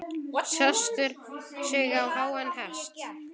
Setur sig á háan hest.